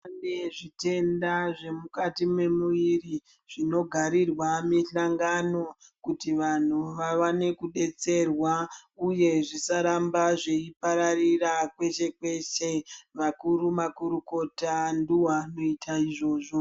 Kune zvitenda zve mukati me muviri zvino garirwa mishangano kuti vanhu wavane kudetserwa uye zvisaramba zveipararira kweshe kweshe vakuru makurukota ndo vakuita izvozvo.